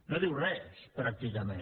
no diu res pràcticament